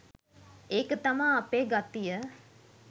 ඒක තමා අපේ ගතිය